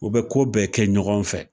U bɛ ko bɛɛ kɛ ɲɔgɔn fɛ